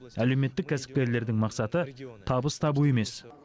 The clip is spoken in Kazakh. әлеуметтік кәсіпкерлердің мақсаты табыс табу емес